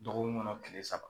Dɔgɔkun ŋɔnɔ tile saba